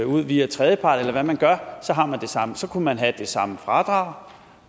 ud via tredjepart eller hvad man gør så har man det samme så kunne man have det samme fradrag